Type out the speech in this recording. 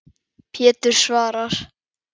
Pétur svarar.